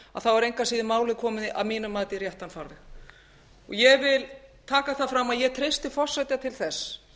er málið engu að síður komið að mínu mati í réttan farveg ég vil taka fram að ég treysti forseta til þess